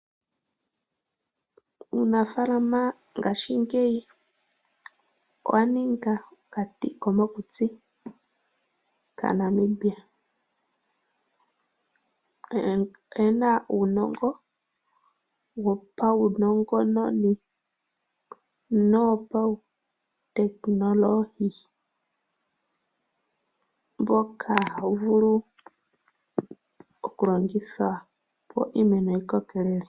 Uunafaalama ngashingeyi owa ninga okati komokutsi naaNamibia. Aantu oyena uunongo wo paunongononi no wo pautekinolohi mboka ha wu vulu okulongithwa opo iimeno yi kokelele.